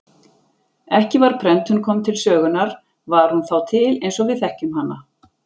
Ekki var prentun kominn til sögunar var hún þá til eins og við þekkjum hana.